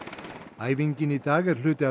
æfingin í dag er hluti af